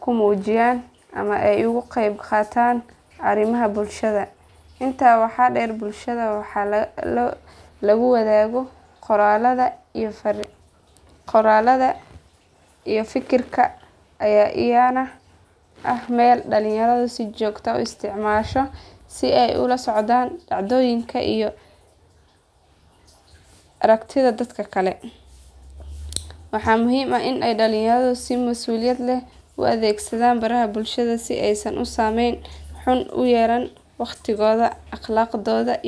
ku muujiyaan ama ay uga qayb qaataan arrimaha bulshada. Intaa waxaa dheer baraha lagu wadaago qoraallada iyo fikirka ayaa iyana ah meel dhalinyaradu si joogto ah u isticmaasho si ay ula socdaan dhacdooyinka iyo aragtida dadka kale. Waxaa muhiim ah in dhalinyaradu si mas’uuliyad leh u adeegsadaan baraha bulshada si aysan u saameyn xun ugu yeelan waqtigooda, akhlaaqdooda.